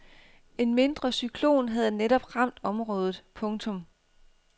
En mindre cyklon havde netop ramt området. punktum